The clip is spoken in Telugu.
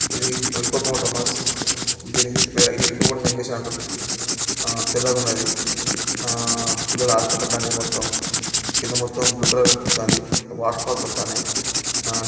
ఇది ఇప్పపోటమస్ . దీని ఇంగ్లీష్ పేరు వీళ్ళు ఇప్పపోట జంగ్లిశ్ అంటారు. ఆ తెల్లగా ఉన్నది. ఆ పిల్లలు ఆడుకుంటున్నారు దాని మీద మొత్తం. కింద మొత్తం బ్లూ కలర్ కనిపితంది. వాటర్ ఫాల్స్ అత్తన్నై హా--